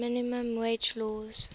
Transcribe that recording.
minimum wage laws